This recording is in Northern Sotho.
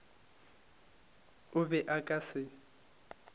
o be a ka se